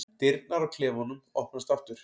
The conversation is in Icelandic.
Dyrnar á klefanum opnast aftur.